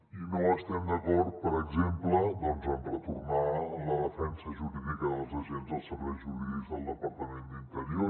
i no estem d’acord per exemple en retornar la defensa jurídica dels agents als serveis jurídics del departament d’interior